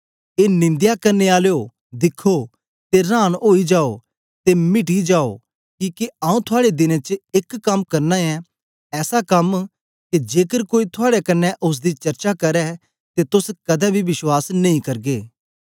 ए निंदया करने आलयो दिखो ते रांन ओई जाओ ते मिटी जाओ किके आंऊँ थुआड़े दिनें च एक कम करना ऐं ऐसा कम के जेकर कोई थुआड़े कन्ने ओसदी चर्चा करै ते तोस कदें बी विश्वास नेई करगे